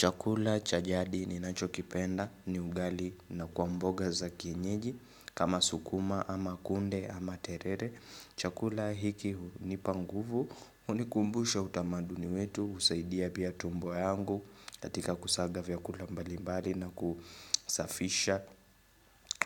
Chakula cha jadi ninacho kipenda ni ugali na kwa mboga za kienyeji kama sukuma ama kunde ama terere Chakula hiki hunipa nguvu hunikumbusha utamaduni wetu husaidia pia tumbo yangu katika kusaga vyakula mbali mbali na kusafisha